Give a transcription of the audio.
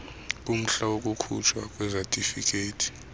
kumhla wokukhutshwa kwesatifiketi